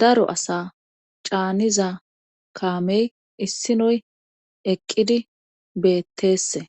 daro asa caaniza kaamey issinoy eqqidi betteesse